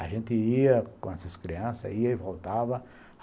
A gente ia com essas crianças, ia e voltava.